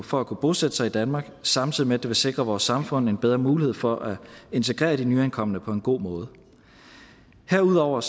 for at kunne bosætte sig i danmark samtidig med at det vil sikre vores samfund en bedre mulighed for at integrere de nyankomne på en god måde herudover